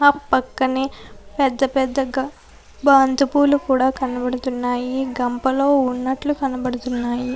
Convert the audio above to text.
ఆ పక్కనే పెద్దపెద్ద బంతిపూలు కూడ కనబడుతున్నాయి గంపలో ఉన్నట్లు కనబడుతున్నాయి.